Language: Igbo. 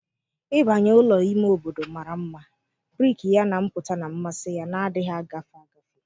Ịbanye ụlọ ime obodo mara mma, brik ya na mpụta na mmasị ya na-adịghị agafe agafe